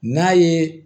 N'a ye